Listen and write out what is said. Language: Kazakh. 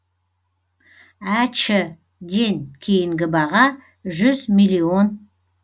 әч ден кейінгі баға жүз миллион